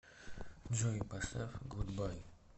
джой поставь гудбай